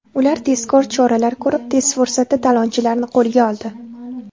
Ular tezkor choralar ko‘rib, tez fursatda talonchilarni qo‘lga oldi.